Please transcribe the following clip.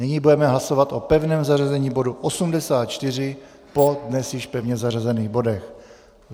Nyní budeme hlasovat o pevném zařazení bodu 84 po dnes již pevně zařazených bodech.